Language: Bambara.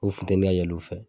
O futeni ka yɛlɛ o fɛ.